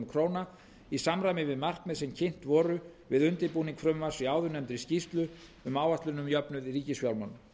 króna í samræmi við markmið sem kynnt voru við undirbúning frumvarps í áðurnefndri skýrslu um áætlun um jöfnuð í ríkisfjármálum